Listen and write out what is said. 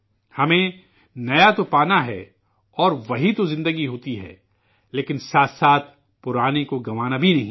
ہمیں نیا تو پانا ہے، اور وہی تو زندگی ہوتی ہے لیکن ساتھ ساتھ قدیم کو گنوانا بھی نہیں ہے